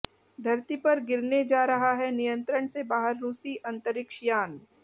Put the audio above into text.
धरती पर गिरने जा रहा है नियंत्रण से बाहर रूसी अंतरिक्ष यान